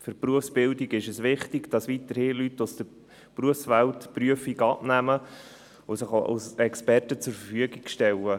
Für die Berufsbildung ist es wichtig, dass weiterhin Leute aus der Berufswelt die Prüfungen abnehmen und sich als Experten zur Verfügung stellen.